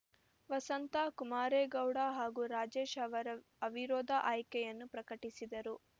ವಸಂತಾ ಕುಮಾರೇಗೌಡ ಹಾಗೂ ರಾಜೇಶ್‌ ಅವರ ಅವಿರೋಧ ಆಯ್ಕೆಯನ್ನು ಪ್ರಕಟಿಸಿದರು